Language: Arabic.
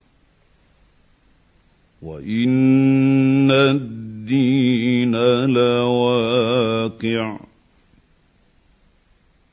وَإِنَّ الدِّينَ لَوَاقِعٌ